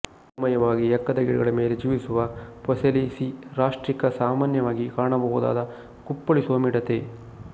ವರ್ಣಮಯವಾಗಿ ಎಕ್ಕದ ಗಿಡಗಳ ಮೇಲೆ ಜೀವಿಸುವ ಪೊಸೆಲಿಸಿರಾಷ್ಟಿಕ ಸಾಮನ್ಯವಾಗಿ ಕಾಣಬಹುದಾದ ಕುಪ್ಪಳಿಸುವ ಮಿಡತೆ